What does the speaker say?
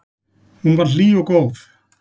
Hún var hlý og góð.